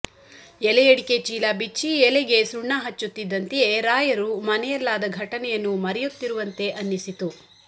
ಎಲೆಯಡಿಕೆ ಚೀಲ ಬಿಚ್ಚಿ ಎಲೆಗೆ ಸುಣ್ಣ ಹಚ್ಚುತ್ತಿದ್ದಂತೆಯೇ ರಾಯರು ಮನೆಯಲ್ಲಾದ ಘಟನೆಯನ್ನು ಮರೆಯುತ್ತಿರುವಂತೆ ಅನ್ನಿಸಿತು